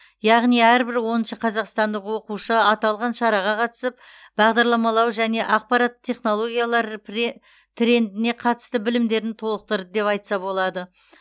яғни әрбір оныншы қазақстандық оқушы аталған шараға қатысып бағдарламалау және ақпараттық технологиялар пре трендіне қатысты білімдерін толықтырды деп айтса болады